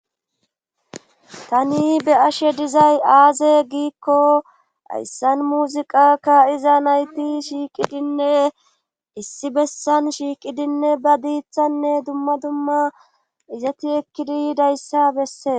tani be ashe dizay aaze giikko hayssan muziqakka iza nayti shiiqidinne issi bessan shiiqidinne ba diithanne dumma dumma izati ekkidi dayssa bessee